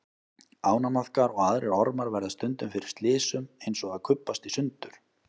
Ánamaðkar og aðrir ormar verða stundum fyrir slysum eins og að kubbast í sundur.